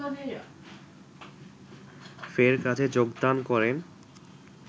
ফের কাজে যোগদান করেন